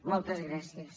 moltes gràcies